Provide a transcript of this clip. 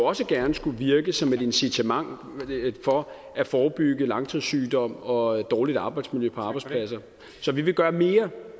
også gerne skulle virke som et incitament for at forebygge langtidssygdom og dårligt arbejdsmiljø på arbejdspladser så vi vil gøre mere